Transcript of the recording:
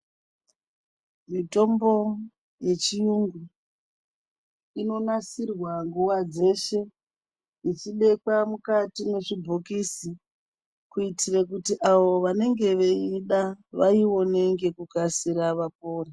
Mitombo yechiyungu inonasirwa nguwa dzeshe ichibekwa mukati mwezvibhokisi kuitire kuti avo vanenge veiida vaione ngekukasira vapore.